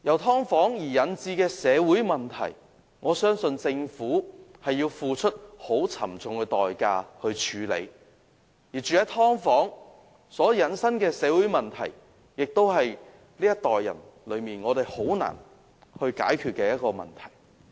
"劏房"引致的社會問題，我相信政府要付出很沉重的代價處理，而居於"劏房"所引申的社會問題，是這一代人很難解決的問題。